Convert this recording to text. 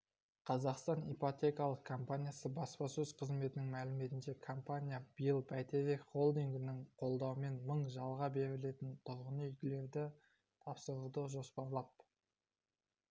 қазақстанипотекалықкомпаниясы баспасөз қызметінің мәліметінше компания биыл бәйтерек холдингінің қолдауымен мың жалға берілетін тұрғын үйлерді тапсыруды жоспарлап